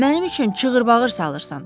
Mənim üçün cığırt-bağır salırsan?